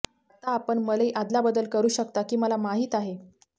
आता आपण मलई अदलाबदल करू शकता की मला माहीत आहे